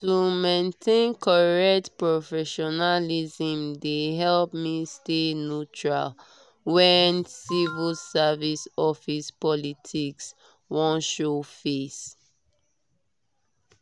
to maintain correct professionalism dey help me stay neutral when civil service office politics wan show face.